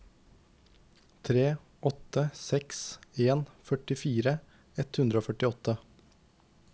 tre åtte seks en førtifire ett hundre og førtiåtte